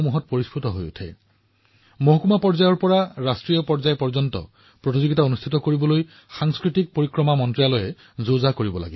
সংস্কৃতি মন্ত্ৰালয়ে তহচিল পৰ্যায়ৰ পৰা ৰাষ্ট্ৰীয় পৰ্যায়লৈ প্ৰতিযোগিতা অনুষ্ঠিত কৰাৰ প্ৰস্তুতি চলাই আছে